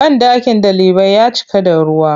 Banɗakin ɗalibai ya cika da ruwa.